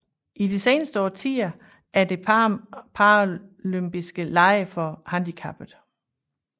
I de seneste årtier er der paralympiske lege for handicappede